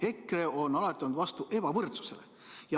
EKRE on alati olnud vastu ebavõrdsusele.